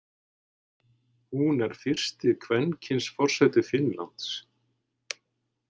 Hún er fyrsti kvenkyns forseti Finnlands.